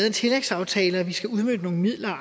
en tillægsaftale og at vi skal udmønte nogle midler og